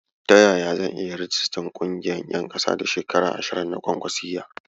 Ta yaya zan iya rijistar ƙungiyar ƴan kasa da shekara ashirin na kwa kwasiyya?